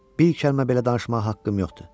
Bir kəlmə belə danışmağa haqqım yoxdur.